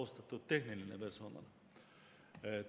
Austatud tehniline personal!